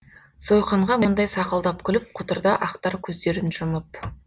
сойқанға мұндай сақылдап күліп құтырды ақтар көздерін жұмып